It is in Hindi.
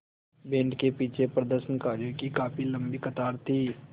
बैंड के पीछे प्रदर्शनकारियों की काफ़ी लम्बी कतार थी